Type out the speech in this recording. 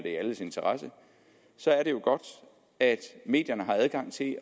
i alles interesse så er det jo godt at medierne har adgang til at